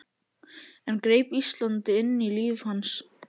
Enn greip Ísland inn í líf hans.